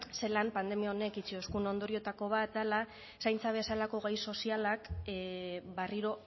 zelan pandemia honek utzi duen ondorioetako bat dela zaintza bezalako gai sozialak berriro